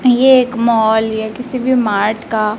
ये एक मॉल या किसी भी मार्ट का--